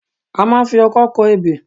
A máa ń fi ọkọ́ kọ ebè